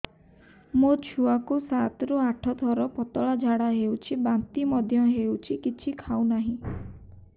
ମୋ ଛୁଆ କୁ ସାତ ରୁ ଆଠ ଥର ପତଳା ଝାଡା ହେଉଛି ବାନ୍ତି ମଧ୍ୟ୍ୟ ହେଉଛି କିଛି ଖାଉ ନାହିଁ